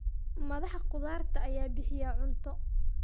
Madaxa khudaarta ayaa bixiya cunto.